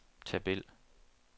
tabel